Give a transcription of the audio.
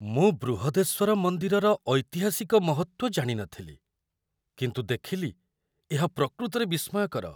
ମୁଁ ବୃହଦେଶ୍ୱର ମନ୍ଦିରର ଐତିହାସିକ ମହତ୍ତ୍ୱ ଜାଣି ନଥିଲି, କିନ୍ତୁ ଦେଖିଲି ଏହା ପ୍ରକୃତରେ ବିସ୍ମୟକର।